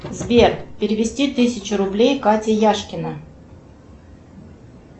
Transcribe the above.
сбер перевести тысячу рублей катя яшкина